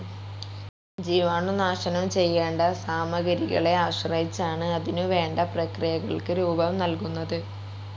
ജീവാണുനാശനം ചെയ്യേണ്ട സാമഗ്രികളെ ആശ്രയിച്ചാണ് അതിനുവേണ്ട പ്രക്രിയകൾക്ക് രൂപം നൽകുന്നത്.